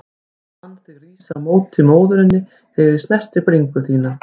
Fann þig rísa á móti móðurinni þegar ég snerti bringu þína.